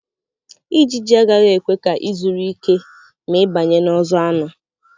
Ijiji agaghị ekwe ka ị zuru ike ma ị banye n'ọzọ anụ.